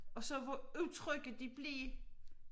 Og så var udtrykket de blev